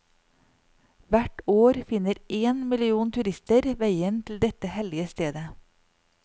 Hvert år finner én million turister veien til dette hellige stedet.